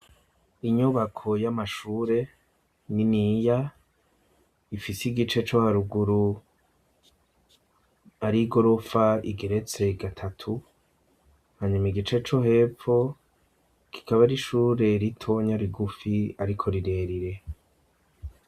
Inyubako y'amashure, niniya, ifise igice co haruguru, ari igorofa igeretse gatatu, hanyuma igice co hepfo kikaba ari ishure ritonya, rigufi, ariko rirerire.